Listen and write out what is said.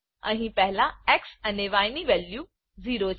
અહી પહેલા એક્સ અને ય ની વેલ્યુ 0 છે